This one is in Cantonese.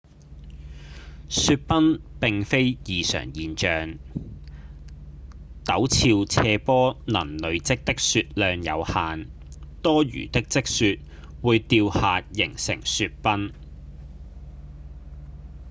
雪崩並非異常現象；陡峭斜坡能累積的雪量有限多餘的積雪會掉下形成雪崩